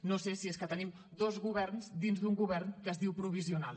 no sé si és que tenim dos governs dins d’un govern que es diu provisional